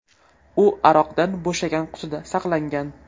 U aroqdan bo‘shagan qutida saqlangan.